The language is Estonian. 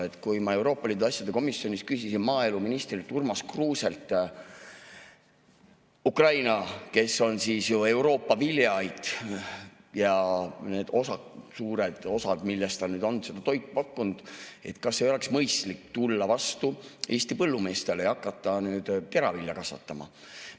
Ma küsisin Euroopa Liidu asjade komisjonis maaeluminister Urmas Kruuselt – Ukraina, kes on Euroopa viljaait ja need suured osad, millelt ta on seda toitu pakkunud –, et kas ei oleks mõistlik tulla vastu Eesti põllumeestele ja hakata nüüd teravilja kasvatama.